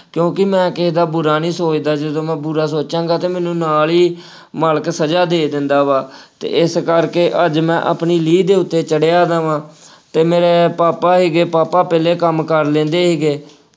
ਕਿਉਂਕਿ ਮੈਂ ਕਿਸੇ ਦਾ ਬੁਰਾ ਨਹੀਂ ਸੋਚਦਾ, ਜਦੋਂ ਮੈੰ ਬੁਰਾ ਸੋਚਾਂਗਾਂ ਅਤੇ ਮੈਂਨੂੰ ਨਾਲ ਹੀ ਮਾਲਕ ਸਜ਼ਾ ਦੇ ਦਿੰਦਾ ਵਾ ਅਤੇ ਇਸ ਕਰਕੇ ਅੱਜ ਮੈਂ ਆਪਣੀ ਲੀਹ ਦੇ ਉੱਤੇ ਚੜ੍ਹਿਆ ਦਾ ਵਾ ਅਤੇ ਮੇਰੇ ਪਾਪਾ ਸੀਗੇ, ਪਾਪਾ ਪਹਿਲੇ ਕੰਮ ਕਰ ਲੈਂਦੇ ਸੀਗੇ।